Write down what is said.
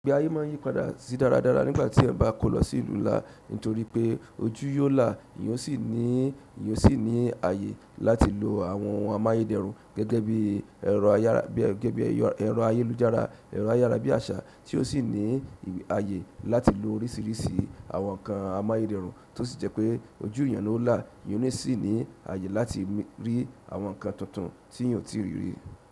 Igbẹ́ ayé máa n yípadà sí dáradára nígbàtí ẹyan bá kó lọ sí ìlú ńlá nítorí pé ojú yóò là, ìyó sì ní ìyó sì ní àyè láti lo àwọn ohun amáyédẹrùn gẹ́gẹ́ bí ẹ̀rọ ayélujára, ẹ̀rọ ayárábíàṣá tí ó sì ní àyè láti lo oríṣìíríṣìí àwọn nǹkan amáyédẹrùn tó sì jẹ́ pé ojú èèyàn ó là, èèyàn o sì ní àyè láti rí àwọn nǹkan tuntun tí èèyàn ò tìí rí rí.